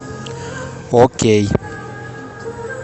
окей